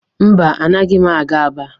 Mba, anaghị m aga Aba.